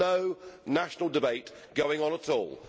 There is no national debate going on at all.